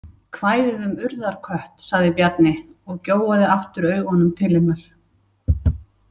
Kvæðið um urðarkött, sagði Bjarni og gjóaði aftur augunum til hennar.